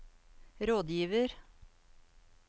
rådgiver